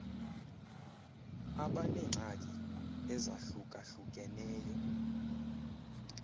abaneengxaki eza hlukahlukeneyo